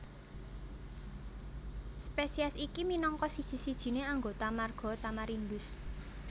Spesies iki minangka siji sijiné anggota marga Tamarindus